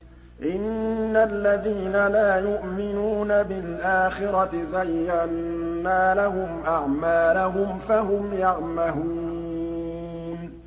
إِنَّ الَّذِينَ لَا يُؤْمِنُونَ بِالْآخِرَةِ زَيَّنَّا لَهُمْ أَعْمَالَهُمْ فَهُمْ يَعْمَهُونَ